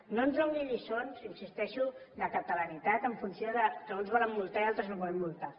no ens doni lliçons hi insisteixo de catalanitat en funció que uns volen multar i altres no volem multar